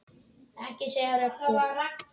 Ekki segja Röggu!